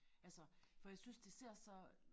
Altså for jeg synes det ser så